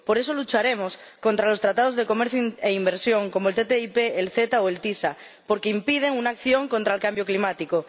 Por eso, lucharemos contra los tratados de comercio e inversión, como la ATCI, el AECG o el ACS, porque impiden una acción contra el cambio climático.